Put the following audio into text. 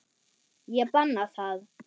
Ég banna það.